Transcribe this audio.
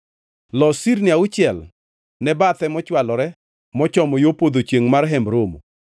Los sirni auchiel ne bathe mochwalore mochomo yo podho chiengʼ mar Hemb Romo,